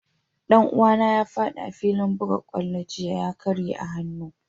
Dan uwa na ya fadi a'filin bugan kwallo jiya, ka karya hanun shi.